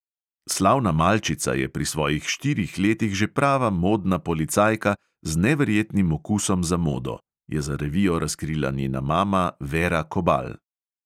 Slavna malčica je pri svojih štirih letih že prava modna policajka z neverjetnim okusom za modo, je za revijo razkrila njena mama vera kobal!